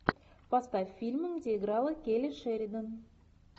поставь фильм где играла келли шеридан